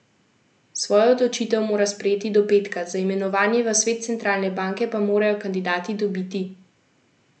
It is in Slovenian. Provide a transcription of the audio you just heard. Svojo odločitev mora sprejeti do petka, za imenovanje v svet centralne banke pa morajo kandidati dobiti še parlamentarno večino.